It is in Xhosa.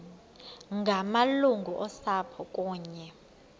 ngamalungu osapho kunye